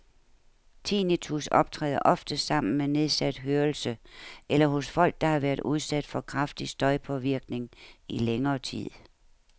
Tinnitus optræder oftest sammen med nedsat hørelse eller hos folk, der har været udsat for kraftig støjpåvirkning i længere tid.